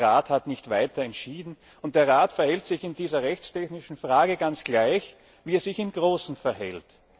Der Rat hat nicht weiter entschieden und verhält sich in dieser rechtstechnischen Frage ganz gleich, wie er sich in großen Fragen verhält.